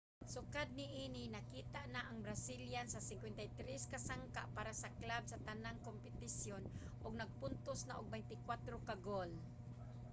sukad niini nakita na ang brazilian sa 53 ka sangka para sa club sa tanang kompetisyon ug nakapuntos na og 24 ka goal